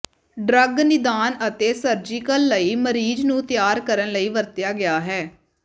drug ਨਿਦਾਨ ਅਤੇ surgical ਲਈ ਮਰੀਜ਼ ਨੂੰ ਤਿਆਰ ਕਰਨ ਲਈ ਵਰਤਿਆ ਗਿਆ ਹੈ